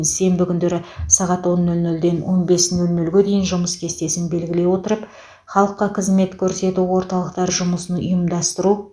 сенбі күндері сағат он нөл нөлден он бес нөл гнөлге дейін жұмыс кестесін белгілей отырып халыққа қызмет көрсету орталықтары жұмысын ұйымдастыру